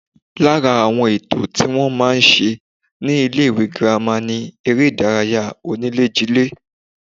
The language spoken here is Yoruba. Lára àwọn ètò tí wọ́n máa ń ṣe ní ilé-ìwé girama ni eré-ìdárayá oníléjilé